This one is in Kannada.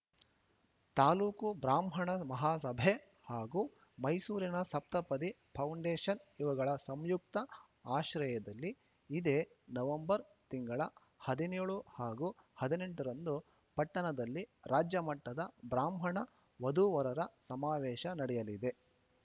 ತಾಲೂಕು ಬ್ರಾಹ್ಮಣ ಮಹಾಸಭೆ ಹಾಗೂ ಮೈಸೂರಿನ ಸಪ್ತಪದಿ ಫೌಂಡೇಶನ್‌ ಇವುಗಳ ಸಂಯುಕ್ತ ಆಶ್ರಯದಲ್ಲಿ ಇದೇ ನವೆಂಬರ್‌ ತಿಂಗಳ ಹದಿನ್ಯೋಳು ಹಾಗೂ ಹದಿನೆಂಟ ರಂದು ಪಟ್ಟಣದಲ್ಲಿ ರಾಜ್ಯಮಟ್ಟದ ಬ್ರಾಹ್ಮಣ ವಧುವರರ ಸಮಾವೇಶ ನಡೆಯಲಿದೆ